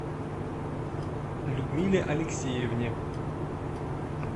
людмиле алексеевне